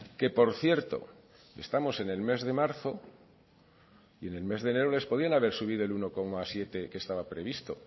que por cierto estamos en el mes de marzo y en el mes de enero les podían haber subido el uno coma siete que estaba previsto